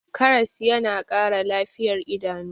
karas yana Kara lafiyar idanu